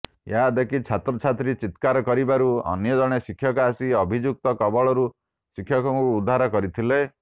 ଏହା ଦେଖି ଛାତ୍ରଛାତ୍ରୀ ଚିକ୍ରାର କରିବାରୁ ଅନ୍ୟ ଜଣେ ଶିକ୍ଷକ ଆସି ଅଭିଯୁକ୍ତ କବଳରୁ ଶିକ୍ଷକଙ୍କୁ ଉଦ୍ଧାର କରିଥିଲେ